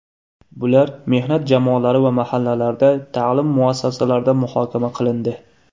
Bular mehnat jamoalari va mahallalarda, ta’lim muassasalarida muhokama qilindi.